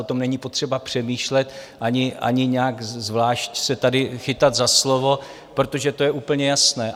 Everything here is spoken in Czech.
O tom není potřeba přemýšlet ani nějak zvlášť se tady chytat za slovo, protože to je úplně jasné.